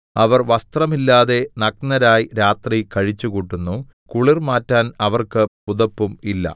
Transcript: അവർ വസ്ത്രമില്ലാതെ നഗ്നരായി രാത്രി കഴിച്ചുകൂട്ടുന്നു കുളിർ മാറ്റാൻ അവർക്ക് പുതപ്പും ഇല്ല